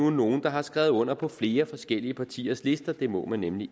nogle der har skrevet under på flere forskellige partiers lister det må man nemlig